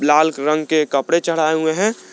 लाल रंग के कपड़े चढ़ाए हुवे हैं।